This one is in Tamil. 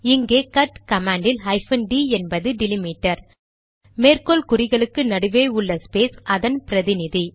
இங்கே கட் கமாண்ட் யில் ஹைபன் டிD என்பது டிலிமிடர் மேற்கோள் குறிகளுக்கு நடுவே உள்ள ஸ்பேஸ் அதன் பிரதிநிதி